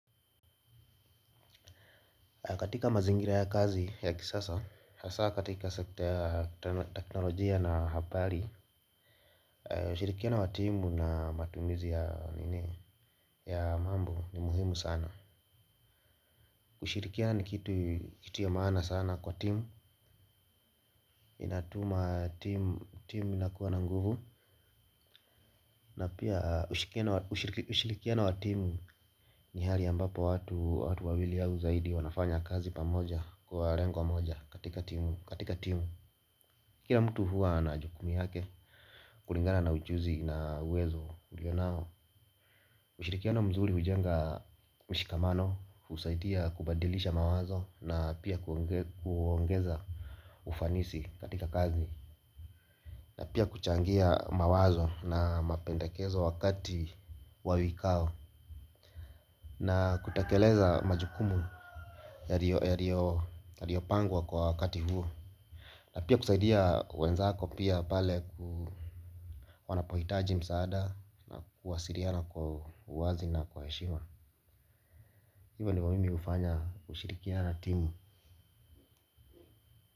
Katika mazingira ya kazi ya kisasa, hasaa katika sekta ya teknolojia na habari, ushirikiano wa timu na matumizi ya mambo ni muhimu sana. Kushirikiana ni kitu ya maana sana kwa timu, inatuma timu inakuwa na nguvu, na pia ushirikiano wa timu ni hali ambapo watu wawili au zaidi wanafanya kazi pamoja kwa lengo moja katika timu. Kila mtu huwa na jukumu yake, kulingana na uchuzi na uwezo alio nao. Ushirikiano mzuri hujenga mshikamano, husaidia kubadilisha mawazo na pia kuongeza ufanisi katika kazi. Na pia kuchangia mawazo na mapendakezo wakati wa vikao na kutekeleza majukumu yaliopangwa kwa wakati huo na pia kusaidia wenzako pia pale wanapohitaji msaada na kuwasiliana kwa uwazi na kwa heshima. Hivyo ndivyo mimi hufanya kushirikiana na timu.